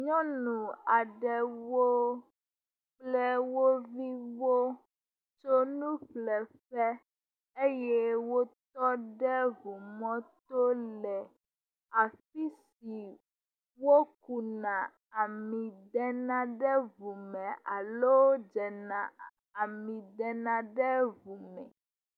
Nyɔnu aɖewo le wo viwo ƒe fle ƒe eye wotɔ ɖe ŋu mɔto le afi si wokuna ami de na ɖe ŋu me alo dzena ami de na ɖe ŋu me